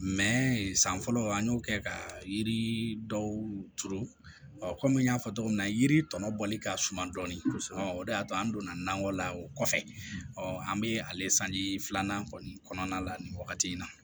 san fɔlɔ an y'o kɛ ka yiri dɔw turu kɔmi n y'a fɔ cogo min na yiri tɔnɔ bɔli ka suma dɔɔnin o de y'a to an donna nakɔ la o kɔfɛ an bɛ ale sanji filanan kɔni kɔnɔna la nin wagati in na